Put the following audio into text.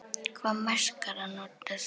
Hvaða maskara notar þú?